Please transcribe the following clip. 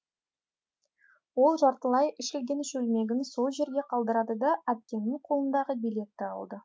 ол жартылай ішілген шөлмегін сол жерге қалдырды да әпкемнің қолындағы билетті алды